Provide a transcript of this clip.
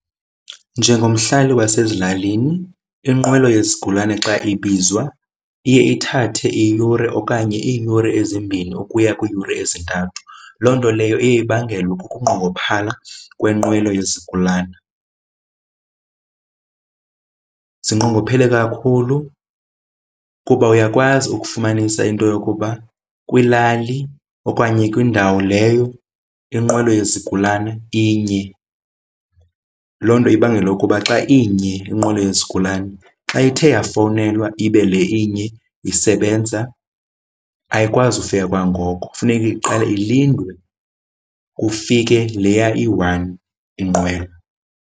Njengomhlali wasezilalini inqwelo yezigulana xa ibizwa iye ithathe iyure okanye iiyure ezimbini ukuya kwiiyure ezintathu. Loo nto leyo iye ibangelwe kukunqongophala kwenqwelo yezigulana. Zinqongophele kakhulu kuba uyakwazi ukufumanisa into yokuba kwilali okanye kwindawo leyo inqwelo yezigulana inye. loo nto ibangele ukuba xa inye inqwelo yezigulana xa ithe yafowunelwa ibe le inye isebenza, ayikwazi ufika kwangoko. Funeka iqale ilindwe kufike leya iyi-one inqwelo.